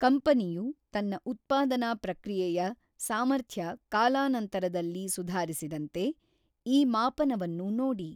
ಕಂಪನಿಯು ತನ್ನ ಉತ್ಪಾದನಾ ಪ್ರಕ್ರಿಯೆಯ ಸಾರ್ಮಥ್ಯ ಕಾಲಾನಂತರದಲ್ಲಿ ಸುಧಾರಿಸಿದಂತೆ ಈ ಮಾಪನವನ್ನು ನೋಡಿ.